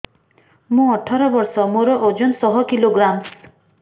ମୁଁ ଅଠର ବର୍ଷ ମୋର ଓଜନ ଶହ କିଲୋଗ୍ରାମସ